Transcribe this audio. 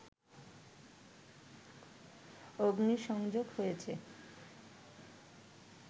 অগ্নিসংযোগ হয়েছে